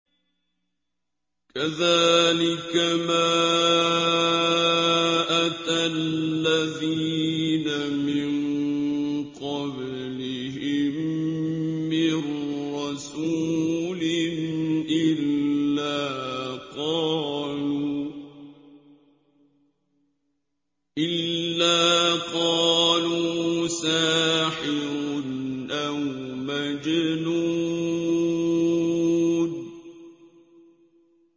كَذَٰلِكَ مَا أَتَى الَّذِينَ مِن قَبْلِهِم مِّن رَّسُولٍ إِلَّا قَالُوا سَاحِرٌ أَوْ مَجْنُونٌ